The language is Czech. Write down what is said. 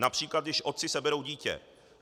Například když otci seberou dítě.